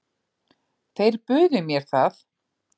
Þeir buðu mér það.